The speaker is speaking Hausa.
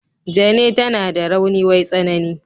Jane tana da rauni wai tsanani.